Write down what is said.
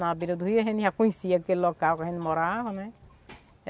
Na beira do Rio a gente já conhecia aquele local que a gente morava, né?